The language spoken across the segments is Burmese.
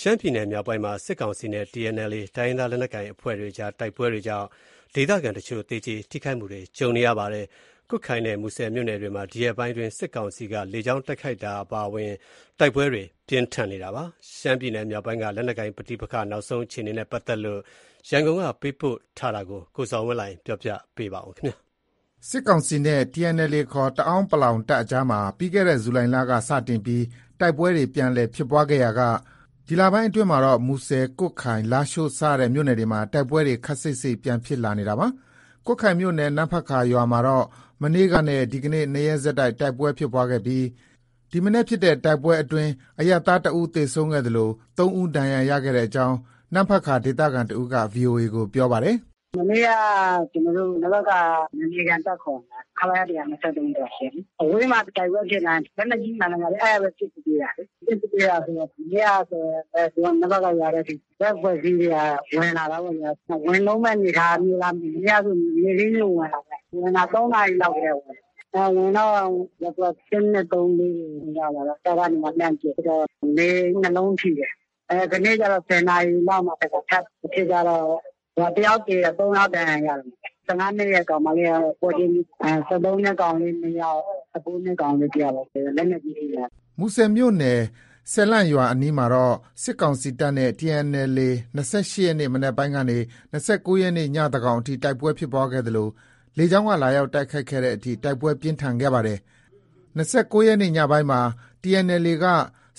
ရှမ်းပြည်နယ် မြောက်ပိုင်းမှာ စစ်ကောင်စီနဲ့ TNLA တိုင်းရင်းသားလက်နက်ကိုင် အဖွဲ့ကြား တိုက်ပွဲတွေကြောင့် ဒေသခံတချို့ သေကြေထိခိုက်မှုတွေ ကြုံနေရပါတယ်။ ကွတ်ခိုင်နဲ့ မူဆယ်မြို့နယ်တွေမှာ ဒီရက်ပိုင်းအတွင်း စစ်ကောင်စီက လေကြောင်း တိုက်ခိုက်တာ အပါအဝင် တိုက်ပွဲတွေ ပြင်းထန်နေတာပါ။ ရှမ်းပြည်နယ်မြောက်ပိုင်းက လက်နက်ကိုင် ပဋိပက္ခတွေ နောက်ဆုံးအခြေအနေနဲ့ ပတ်သက်လို့ ရန်ကုန်က သတင်းပေးပို့ထားတာကို ကိုဇော်ဝင်းလှိုင် ပြောပြပေးမှာပါ။ စစ်ကောင်စီတပ်နဲ့ TNLA ခေါ် တအန်း တပ်အကြားမှာ ပြီးခဲ့တဲ့ ဇူလိုင်လက စတင်ပြီး တိုက်ပွဲတွေ ပြန်လည်ဖြစ်ပွားခဲ့ရာက ဒီလပိုင်းအတွင်းမှာတော့ မူဆယ်၊ ကွတ်ခိုင်၊ လားရှိုးစတဲ့မြို့နယ်တွေမှာ တိုက်ပွဲတွေ ခပ်စိပ်စိပ်ပြန်ဖြစ်လာနေတာပါ။ ကွတ်ခိုင်မြို့နယ် နမ့်ဖတ်ကာရွာမှာတော့ မနေ့ကနဲ့ဒီနေ့ ၂ရက်ဆက် တိုက်ပွဲဖြစ်ပွားခဲ့ပြီး ဒီမနက်ဖြစ်တဲ့ တိုက်ပွဲအတွင်း အရပ်သားတစ်ဦးသေဆုံးခဲ့သလို ၃ဦးဒဏ်ရာရခဲ့ကြောင်း နမ့်ဖတ်ကာဒေသခံတစ်ဦးက VOA ကို ပြောပါတယ်။ “ မနေ့က ကျနော်တို့ နမ့်ဖတ်ကာ နယ်မြေခံတပ်ခေါ်မလား။ ခလရ ၁၂၃ ဆိုတာ ရှိတယ်လေ။ အဝေးမှာ တိုက်ပွဲဖြစ်တိုင်း လက်နက်ကြီးဟူသမျှ အဲဒီကပဲ ပစ်ကူပေးတာလေ။ ပစ်ကူပေးတာဆိုတော့ မနေ့ကဆိုရင် နမ့်ဖတ်ကာရွာထဲအထိ တဖက်အဖွဲ့အစည်းတွေက ဝင်လာတာပေါ့ဗျာ။ ဝင်လုံးမယ့် အနေအထားမျိုးလား မသိဘူး။ မနေ့ကဆို နေ့ခင်းကြီးကို ဝင်လာတာ။ ဝင်တာ ၃နာရီလောက်တည်းက ဝင်တာ။ ဝင်တော့ ရပ်ကွက် ၁၊ ၂၊ ၃၊ ၄ တွေကို ရောက်လာတော့ တပ်ကနေ လှမ်းပစ်တော့ နေအိမ် ၂လုံးထိတယ်။ ဒီနေ့ကျတော့ ၁၀နာရီလောက်မှာ တခါ ထပ်ဖြစ်ကြတော့ ၁ယောက်သေတယ်။ ၃ယောက်ဒဏ်ရာရတယ်။ ၁၅နှစ်အရွယ်ကောင်မလေးကတော့ ပွဲချင်းပြီး။ ၁၃နှစ်အရွယ်ကောင်လေး ၂ယောက်၊ ၁၉နှစ်ကောင်လေး တယောက်ပေါ့။ လက်နက်ကြီး ထိတာ။ ” မူဆယ်မြို့နယ် စယ်လန့်ရွာအနီးမှာတော့ စစ်ကောင်စီတပ်နဲ့ TNLA ၂၈ ရက်နေ့ မနက်ပိုင်းကနေ ၂၉ရက်နေ့ ညသန်းခေါင်အထိ တိုက်ပွဲဖြစ်ပွားခဲ့သလို လေကြောင်းက လာရောက်တိုက်ခိုက်တဲ့အထိ တိုက်ပွဲပြင်းထန် ခဲ့ပါတယ်။ ၂၉ရက်နေ့ ညပိုင်းမှာ TNLAက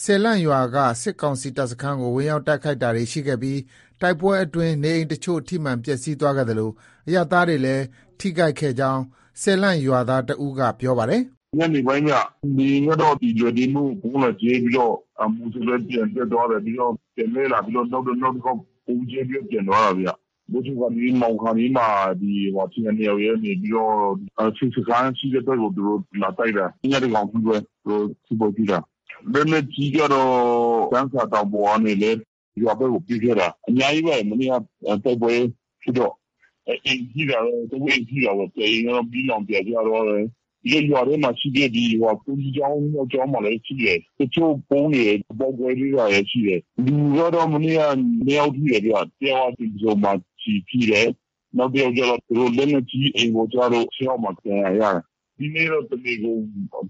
စယ်လန့်ရွာက စစ်ကောင်စီတပ်စခန်းကို ဝင်ရောက်တိုက်ခိုက်တာတွေရှိခဲ့ပြီး တိုက်ပွဲအတွင်း နေအိမ်အချို့ ထိမှန်ပျက်ဆီးခဲ့သလို အရပ်သားတွေလည်း ထိခိုက်ခဲ့ကြောင်း စယ်လန့်ရွာသားတစ်ဦးက ပြောပါတယ်။ “ ညနေပိုင်းဗျ၊ လေယာဉ်ကတော့ လွိုင်တေးမိန်းကို ဗုံးလာကြဲပြီးတော့ မူဆယ်ဘက် ပြန်တက်သွားတယ်။ ပြီးတော့ ပြန်လှည့်လာပြီးတော့ နောက်တခေါက် ဗုံးကြဲပြီးတော့ ပြန်သွားတာဗျ။ မိုးချုပ်ခါနီး မှောင်ခါနီးမှာ TNLA ကနေပြီးတော့ စစ်စခန်းရှိတဲ့ဘက်ကို လာတိုက်တာ။ ည သန်းခေါင်အထိပဲ။ သူတို့ စစ်ပွဲဖြစ်တာ။ လက်နက်ကြီးကတော့ ကျမ်းစာတောင်ပေါ်ကနေလည်း ရွာဘက်ကို ပစ်ခဲ့တာ။ အများကြီးပဲ။ မနေ့က တိုက်ပွဲဖြစ်တော့ အိမ်ထိတာတော့ ၃အိမ် ထိတာပေါ့။ တအိမ်ကတော့ မီးလောင်ပြာကျသွားတယ်။ ရွာထဲမှာရှိတဲ့ ဘုန်းကြီးကျောင်း ၂ကျောင်းမှာလည်း ထိတယ်။ တချို့ ဗုံးတွေ မပေါက်ကွဲသေးတာလည်း ရှိတယ်။ လူကတော့ မနေ့က ၂ယောက် ထိတယ်။ တယောက်က တင်ပဆုံမှာ ကျည်ထိတယ်။ နောက်တယောက်ကျတော့ လက်နက်ကြီး အိမ်ပေါ်ကျလို့ ခြေထောက်မှာ ဒဏ်ရာရတယ်။ ဒီနေ့တော့ တနေကုန်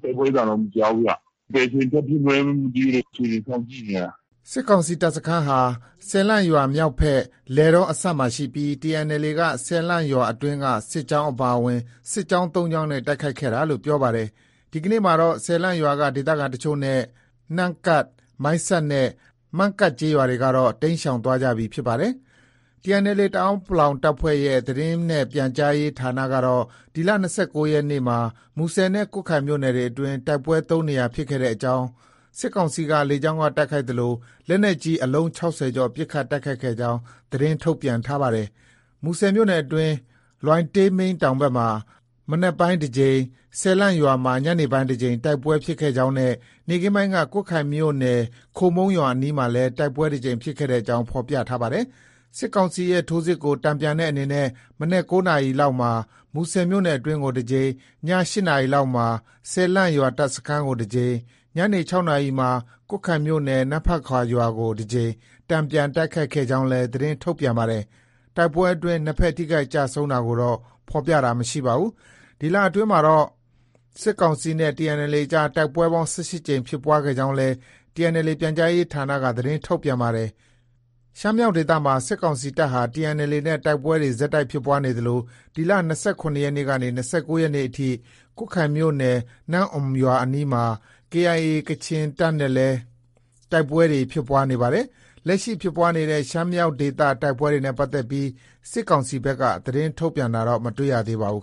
တိုက်ပွဲသံတော့ မကြားဘူးဗျ။ ဘယ်အချိန်ထဖြစ်မလဲ မသိဘူး။ အခြေအနေစောင့်ကြည့်နေတာ။” စစ်ကောင်စီတပ်စခန်းဟာ စယ်လန့်ရွာမြောက်ဖက် လယ်တောအစပ်မှာရှိပြီး TNLA က စယ်လန့်ရွာအတွင်းက စစ်ကြောင်းအပါအဝင် စစ်ကြောင်း ၃ကြောင်းနဲ့ တိုက်ခိုက်ခဲ့တာလို့ ပြောပါတယ်။ ဒီကနေ့မှာတော့ စယ်လန့်ရွာက ဒေသခံအချို့နဲ့ နမ့်ကတ်၊ မိုင်းဆတ်နဲ့ မန့်ကတ်ရွာတွေကတော့ တိမ်းရှောင်သွားကြပြီဖြစ်ပါတယ်။ TNLA တအန်း တပ်ဖွဲ့ရဲ့ သတင်းနဲ့ပြန်ကြားရေးဌာနကတော့ ဒီလ ၂၉ရက်နေ့မှာ မူဆယ်နဲ့ ကွတ်ခိုင်မြို့နယ်အတွင်းမှာ တိုက်ပွဲ ၃နေရာဖြစ်ခဲ့ကြောင်း၊ စစ်ကောင်စီက လေကြောင်းက တိုက်ခိုက်သလို လက်နက်ကြီး အလုံး ၆၀ကျော်ပစ်ခတ်တိုက်ခိုက်ခဲ့ကြောင်း သတင်းထုတ်ပြန်ထားပါတယ်။ မူဆယ်မြို့နယ်အတွင်း လွိုင်တေးမိန်းတောင်မှာ မနက်ပိုင်းတကြိမ်၊ စယ်လန့်ရွာမှာ ညနေပိုင်းတကြိမ် တိုက်ပွဲ ဖြစ်ခဲ့ကြောင်းနဲ့ နေ့ခင်းပိုင်းက ကွတ်ခိုင်မြို့နယ် ခိုမုန်းရွာအနီးမှာလည်း တိုက်ပွဲတကြိမ်ဖြစ်ခဲ့ကြောင်း ဖော်ပြပါတယ်။ စစ်ကောင်စီရဲ့ ထိုးစစ်ကို တန်ပြန်တဲ့အနေနဲ့ မနက် ၉နာရီခန့်မှာ မူဆယ်မြို့တွင်းကို တကြိမ်၊ ည၈နာရီခန့်မှာ စယ်လန့်ရွာ တပ်စခန်းကို တကြိမ်၊ ညနေ ၆နာရီမှာ ကွတ်ခိုင်မြို့နယ် နမ့်ဖတ်ကာရွာကို တကြိမ် တန်ပြန်တိုက်ခိုက်ခဲ့ကြောင်းလည်း သတင်းထုတ်ပြန်ပါတယ်။ တိုက်ပွဲအတွင်း နှစ်ဘက် ထိခိုက်ကျဆုံးတာကိုတော့ ဖော်ပြတာမရှိပါဘူး။ ဒီလအတွင်းမှာတော့ စစ်ကောင်စီနဲ့ TNLA အကြားမှာ တိုက်ပွဲပေါင်း ၁၈ကြိမ်ဖြစ်ပွားခဲ့ကြောင်းလည်း TNLA ပြန်ကြားရေးဌာနက သတင်းထုတ်ပြန်ပါတယ်။ ရှမ်းမြောက်ဒေသမှာ စစ်ကောင်စီတပ်ဟာ TNLA နဲ့ တိုက်ပွဲတွေ ဆက်တိုက်ဖြစ်ပွားနေသလို ဒီလ ၂၇ရက်ကနေ ၂၉ရက်နေ့အထိလည်း ကွတ်ခိုင်မြို့နယ် နမ့်အွမ်ရွာအနီးမှာ KIA ကချင်တပ်နဲ့လည်း တိုက်ပွဲတွေ ဖြစ်ပွားနေပါတယ်။ လက်ရှိဖြစ်ပွားနေတဲ့ ရှမ်းမြောက်ဒေသ တိုက်ပွဲတွေနဲ့ ပတ်သက်ပြီး စစ်ကောင်စီဘက်က သတင်းထုတ်ပြန်တာတော့ မတွေ့ရပါဘူး